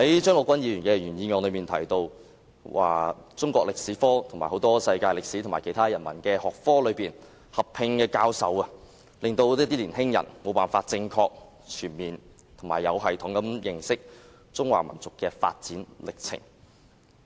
張國鈞議員在原議案提到，"中國歷史科和世界歷史或其他人文學科合併教授……令年輕一代無法正確、全面和有系統地認識中華民族的發展歷程"。